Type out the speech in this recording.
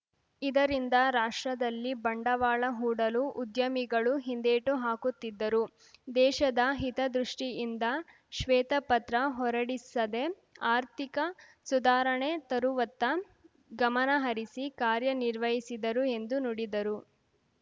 ಇದರಿಂದ ರಾಷ್ಟ್ರದಲ್ಲಿ ಬಂಡವಾಳ ಹೂಡಲು ಉದ್ಯಮಿಗಳು ಹಿಂದೇಟು ಹಾಕುತ್ತಿದ್ದರು ದೇಶದ ಹಿತದೃಷ್ಟಿಯಿಂದ ಶ್ವೇತಪತ್ರ ಹೊರಡಿಸದೆ ಆರ್ಥಿಕ ಸುಧಾರಣೆ ತರುವತ್ತ ಗಮನಹರಿಸಿ ಕಾರ್ಯ ನಿರ್ವಹಿಸಿದರು ಎಂದು ನುಡಿದರು